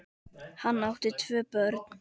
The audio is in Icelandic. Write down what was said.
Hann átti tvö börn.